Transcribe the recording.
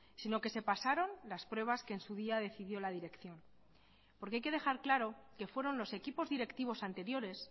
sino que se pasaron las pruebas que en su día decidió la dirección porque hay que dejar claro que fueron los equipos directivos anteriores